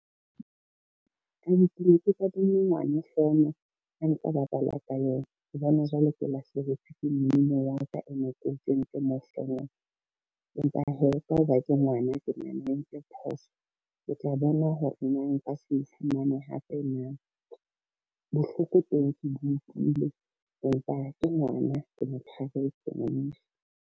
Kannete ke ne ke kadimme ngwana fono a ntse a bapala ka yona, ke bona jwale ke lahlehetswe ke mmino ya ka e ne ke kentse mo fonong, empa hee ka ho ba ke ngwana ke nahana o entse phoso. Ke tla bona hore na nka se fumane hape na, bohloko teng ke bo utlwile empa ke ngwana ke mo .